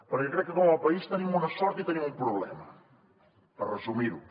perquè crec que com a país tenim una sort i tenim un problema per resumir ho